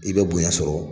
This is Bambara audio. I bɛ bonya sɔrɔ